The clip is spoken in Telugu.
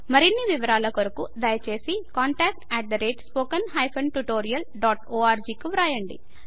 మరిన్ని వివరాల కొరకు దయచేసి contactspoken tutorialorg కు వ్రాయండి